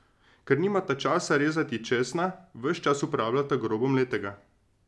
Ker nimata časa rezati česna, ves čas uporabljata grobo mletega.